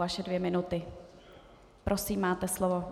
Vaše dvě minuty, prosím, máte slovo.